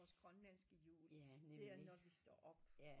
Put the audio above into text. Vores grønlandske jul det er når vi står op